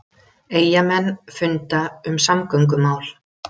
Eyjamenn funda um samgöngumál